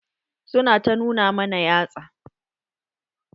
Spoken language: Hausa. Su na ta nuna mana yatsa.